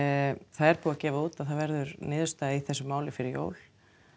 það er búið að gefa það út að það verður niðurstaða í þessu máli fyrir jól